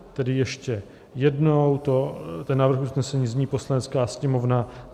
Tedy ještě jednou, ten návrh usnesení zní: "Poslanecká sněmovna